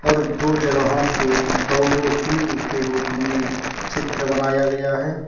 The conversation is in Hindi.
दो जगहों पे के रूप में चित्र बनाया गया है।